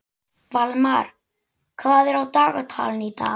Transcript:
Valmar, hvað er á dagatalinu í dag?